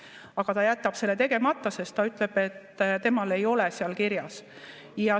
Aga ta jätab selle tegemata, sest ta ütleb, et temal ei ole seda kirjas.